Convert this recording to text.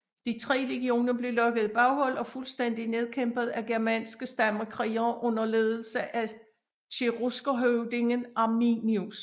De tre legioner blev lokket i baghold og fuldstændigt nedkæmpet af germanske stammekrigere under ledelse af cheruskerhøvdingen Arminius